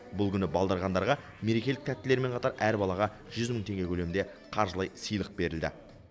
бұл күні балдырғандарға мерекелік тәттілермен қатар әр балаға жүз мың теңге көлемінде қаржылай сыйлық берілді